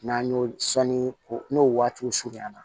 N'an y'o sanni ko n'o waatiw surunya na